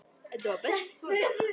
Þetta var best svona.